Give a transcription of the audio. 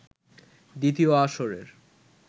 দ্বিতীয় আসরের